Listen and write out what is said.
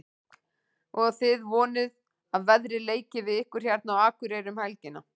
Og þið vonið að veðrið leiki við ykkur hérna á Akureyri um helgina?